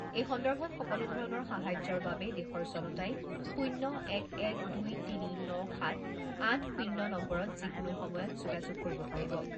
এই সন্দৰ্ভত সকলো ধৰণৰ সাহায্যাৰ বাবে দেশৰ জনতাই শূণ্য এক এক দুই তিনি ন সাত আঠ শূণ্য নম্বৰত যিকোনো সময়ত যোগাযোগ কৰিব পাৰিব।